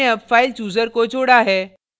हमने अब file chooser को जोड़ा है